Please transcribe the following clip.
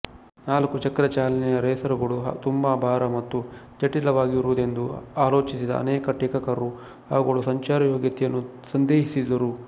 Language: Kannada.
ನಾಲ್ಕುಚಕ್ರ ಚಾಲನೆಯ ರೇಸರುಗಳು ತುಂಬಾ ಭಾರ ಮತ್ತು ಜಟಿಲವಾಗಿರುವುದೆಂದು ಆಲೋಚಿಸಿದ ಅನೇಕ ಟೀಕಾಕಾರರು ಅವುಗಳ ಸಂಚಾರಯೋಗ್ಯತೆಯನ್ನು ಸಂದೇಹಿಸಿದರು